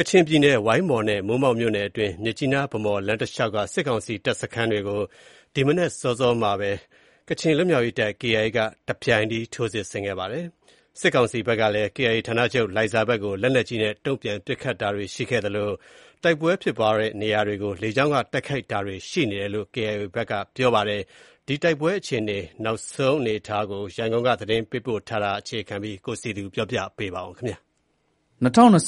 ကချင်ပြည်နယ် ဝိုင်းမော်နဲ့ မိုးမောက်မြို့နယ်အတွင်း မြစ်ကြီးနား - ဗန်းမော် လမ်းတလျှောက်က စစ်ကောင်စီတပ်စခန်းတွေကို ဒီကနေ့မနက် အစောပိုင်းမှာ ကချင်လွတ်မြောက်ရေးတပ်မတော် KIA က တပြိုင်တည်း ထိုးစစ်ဆင်တိုက်ခိုက်ခဲ့ပါတယ်။ စစ်ကောင်စီဘက်ကလည်း KIA ဌာနချုပ် လိုင်ဇာဘက်ကို လက်နက်ကြီးနဲ့ တုံ့ပြန်ပစ်ခတ်တာတွေရှိသလို တိုက်ပွဲဖြစ်ပွားတဲ့နေရာတွေကို လေကြောင်းက တိုက်ခိုက်တာတွေရှိနေကြောင်း KIA ကပြောပါတယ်။ ကချင်ပြည်နယ်က တိုက်ပွဲတွေ နောက်ဆုံးအခြေအနေတွေနဲ့ ပတ်သက်လို့ ရန်ကုန်က သတင်းပေးပို့ထားတာကို အခြေခံပြီး ကိုစည်သူ တင်ပြထားပါတယ်။ ၂၀၂၃ ခုနှ